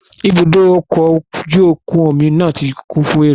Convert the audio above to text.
Ibùdókọ̀ ọkọ̀ ojú omi náà ti kún fún èrò